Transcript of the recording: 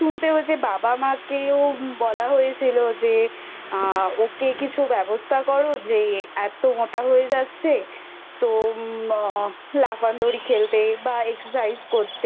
আমাকে তো আ মানে মা বাড়ির থেকে বেরোতাম তখন বলতো তোর শুনতে হয়েছে বাবা মাকেও বলা হয়েছিল যে আ ওকে কিছু ব্যবস্থা করো যে এতো মোটা হয়ে যাচ্ছে